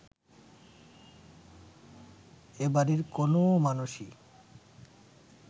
এ বাড়ির কোনও মানুষই